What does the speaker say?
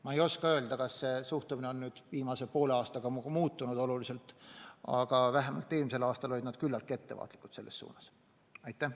Ma ei oska öelda, kas see suhtumine on viimase poole aastaga oluliselt muutunud, aga vähemalt eelmisel aastal olid nad selles suhtes küllaltki ettevaatlikud.